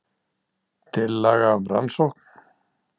Tillaga um rannsókn